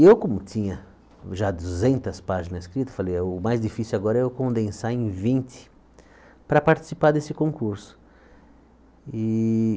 Eu, como tinha já duzentas páginas escritas, falei, o mais difícil agora é eu condensar em vinte para participar desse concurso. E